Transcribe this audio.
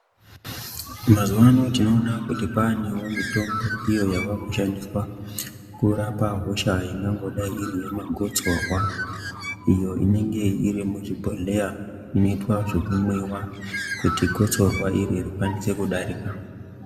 Mazuvaano tinowona kuti kwaanewo mitombo iyo yavakushandiswa kurapa hosha inongada iri yamagosorwa ,iyo inenge irimuchibhodleya inoitwa zvekunwiwa kuti gosorwa iriri rikwanise kudarika .